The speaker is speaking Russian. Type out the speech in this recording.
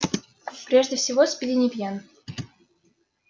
прежде всего спиди не пьян